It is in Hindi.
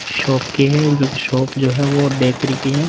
शॉप के हैं जोकि शॉप जो हैं वो बैकरी की है।